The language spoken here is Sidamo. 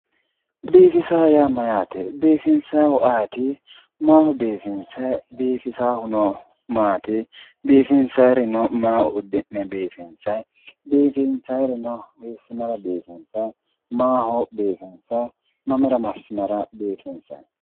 biifisa yaa mayyaate? biifinsayiih ayeeti? maaho biifinsayi? biifisaahuno maati biifinsaayiirino maa uddi'ne biifinsayi, biifinsayiirino hiissinara biifinsayi, maaho biifinsayi, mamira massinara biifinsayi?